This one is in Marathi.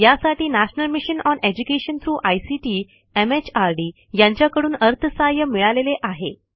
यासाठी national mission on education through ICT MHRD यांच्याकडून अर्थसहाय्य मिळालेले आहे